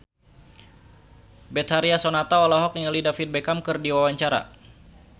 Betharia Sonata olohok ningali David Beckham keur diwawancara